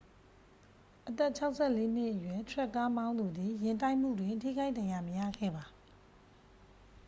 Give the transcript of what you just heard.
အသက် 64 နှစ်အရွယ် ထရပ်ကားမောင်းသူသည် ယာဉ်တိုက်မှုတွင် ထိခိုက်ဒဏ်ရာမရခဲ့ပါ